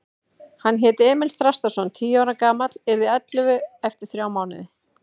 Hann hét Emil Þrastarson, tíu ára gamall, yrði ellefu eftir þrjá mánuði.